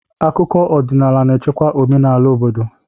Akụkọ ọdịnaala na-echekwa omenala obodo.